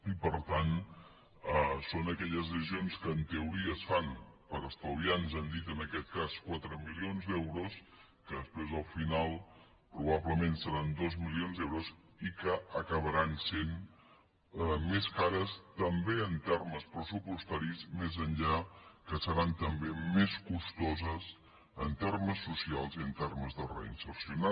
i per tant són aquelles decisions que en teoria es fan per estalviar ens han dit en aquest cas quatre milions d’euros que després al final probablement seran dos milions d’euros i que acabaran sent més cares també en termes pressupostaris més enllà que seran també més costoses en termes socials i en termes de reinserció